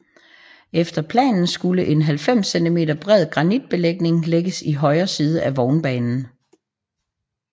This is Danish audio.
Efter planen skulle en 90 centimeter bred granitbelægning lægges i højre side af vognbanen